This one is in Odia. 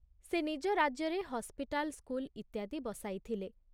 ସେ ନିଜ ରାଜ୍ୟରେ ହସ୍ପିଟାଲ ସ୍କୁଲ ଇତ୍ୟାଦି ବସାଇଥିଲେ।